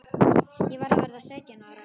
Ég var að verða sautján ára.